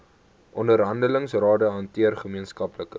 onderhandelingsrade hanteer gemeenskaplike